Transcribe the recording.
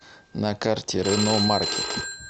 на карте рено маркет